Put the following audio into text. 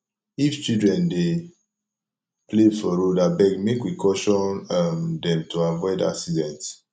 if children dey play for road abeg make we caution um dem to avoid accident